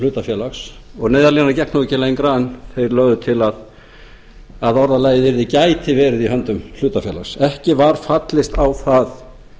hlutafélags og neyðarlínan gekk nú ekki lengra en þeir lögðu til að orðalagið yrði gæti verið í höndum hlutafélags ekki var fallist á það